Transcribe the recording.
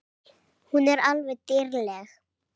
Hún er alveg dýrleg!